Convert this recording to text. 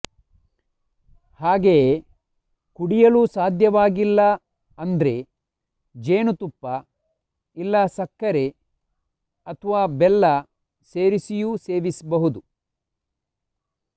ಹಾಗೆಯೇ ಕುಡಿಯಲು ಸಾಧ್ಯವಾಗಿಲ್ಲ ಅಂದ್ರೆ ಜೇನುತುಪ್ಪ ಇಲ್ಲ ಸಕ್ಕರೆ ಅಥ್ವಾ ಬೆಲ್ಲ ಸೇರಿಸಿಯೂ ಸೇವಿಸ್ಬಹುದು